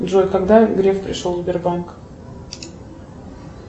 джой когда греф пришел в сбербанк